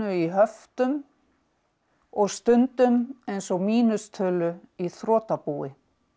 í höftum og stundum eins og mínustölu í þrotabúi